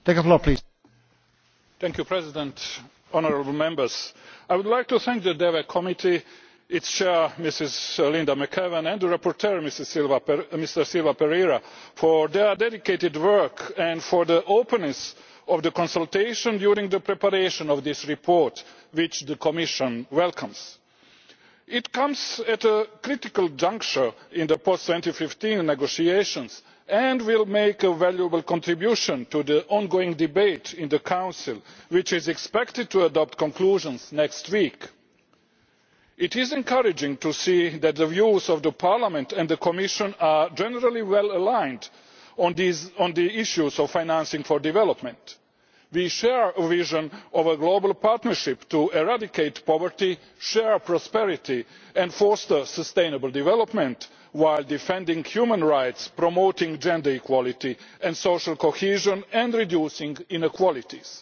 Mr President, I would like to thank the Committee on Development, its chair, Ms Linda McAvan, and the rapporteur, Mr Silva Pereira, for their dedicated work and for the openness of the consultations during the preparation of this report, which the Commission welcomes. It comes at a critical juncture in the post 2015 negotiations, and will make a valuable contribution to the ongoing debate in the Council, which is expected to adopt conclusions next week. It is encouraging to see that the views of Parliament and the Commission are generally well aligned on the issues of financing for development. We share a vision of a global partnership to eradicate poverty, share prosperity and foster sustainable development while defending human rights, promoting gender equality and social cohesion, and reducing inequalities.